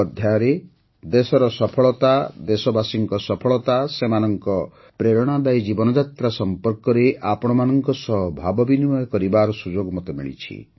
ମନ୍ କି ବାତ୍ର ଆଉ ଏକ ଅଧ୍ୟାୟରେ ଦେଶର ସଫଳତା ଦେଶବାସୀଙ୍କ ସଫଳତା ସେମାନଙ୍କ ପ୍ରେରଣାଦାୟୀ ଜୀବନଯାତ୍ରା ସମ୍ପର୍କରେ ଆପଣମାନଙ୍କ ସହ ଭାବବିନିମୟ କରିବାର ସୁଯୋଗ ମିଳିଛି